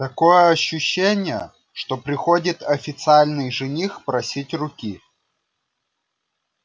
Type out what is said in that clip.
такое ощущение что приходит официальный жених просить руки